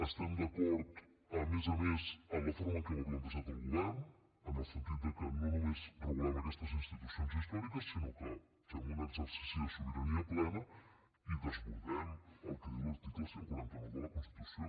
estem d’acord a més a més amb la forma en què ho ha plantejat el govern en el sentit que no només regulem aquestes institucions històriques sinó que fem un exercici de sobirania plena i desbordem el que diu l’article cent i quaranta nou de la constitució